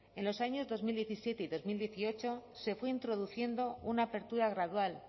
en los años dos mil diecisiete y dos mil dieciocho se fue introduciendo una apertura gradual